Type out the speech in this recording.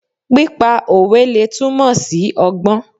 Pípa òwe lè túmọ̀ sí ọgbọ́n.